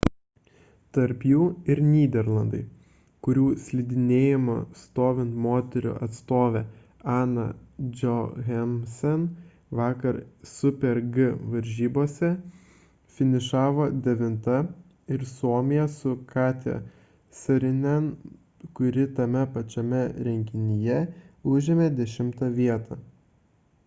tarp jų ir nyderlandai kurių slidinėjimo stovint moterų atstovė anna jochemsen vakar super-g varžybose finišavo devinta ir suomija su katja saarinen kuri tame pačiame renginyje užėmė dešimtą vietą